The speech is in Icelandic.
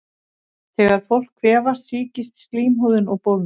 Þegar fólk kvefast sýkist slímhúðin og bólgnar.